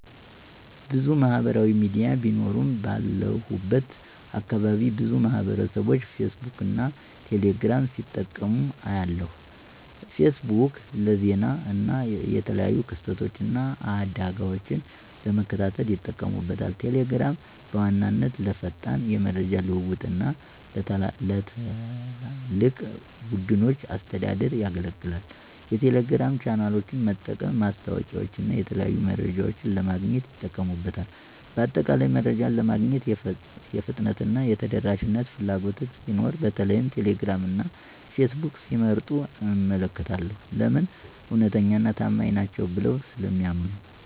**ብዙ ማህበራዊ ሚዲያ ቢኖሩም፦ ባለሁበት አካባቢ ብዙ ማህበረሰብቦች ፌስቡክን እና ቴሌ ግራምን ሲጠቀሙ አያለሁ፤ * ፌስቡክ: ለዜና እና የተለያዩ ክስተቶችን እና አደጋወችን ለመከታተል ይጠቀሙበታል። * ቴሌግራም: በዋነኛነት ለፈጣን የመረጃ ልውውጥ እና ለትላልቅ ቡድኖች አስተዳደር ያገለግላል። የቴሌግራም ቻናሎችን በመጠቀም ማስታወቂያወችንና የተለያዩ መረጃዎችን ለማግኘት ይጠቀሙበታል። በአጠቃላይ፣ መረጃ ለማግኘት የፍጥነትና የተደራሽነት ፍላጎት ሲኖር በተለይም ቴሌግራም እና ፌስቡክን ሲመርጡ እመለከታለሁ። *ለምን? እውነተኛና ታማኝ ናቸው ብለው ስለሚያምኑ።